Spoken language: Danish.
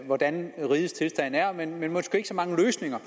hvordan rigets tilstand er men måske ikke så mange løsninger